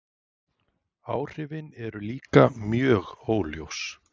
Áhrifin eru líka mjög óljós.